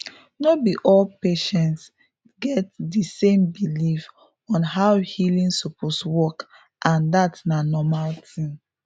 no be all patients get di same belief on how healing suppose work and dat na normal thing